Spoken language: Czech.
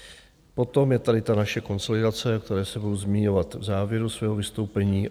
Potom je tady ta naše konsolidace, o které se budu zmiňovat v závěru svého vystoupení.